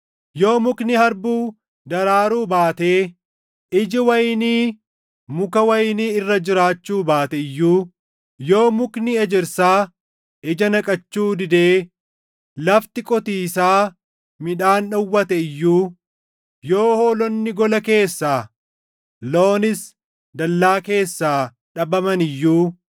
Yoo mukni harbuu daraaruu baatee iji wayinii muka wayinii irra jiraachuu baate iyyuu, yoo mukni ejersaa ija naqachuu didee lafti qotiisaa midhaan dhowwate iyyuu, yoo hoolonni gola keessaa, loonis dallaa keessaa dhabaman iyyuu,